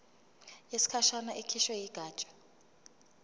yesikhashana ekhishwe yigatsha